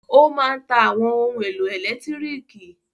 Ó máa ń ta àwọn ohun-èlò ẹ̀lẹ́tíríkì.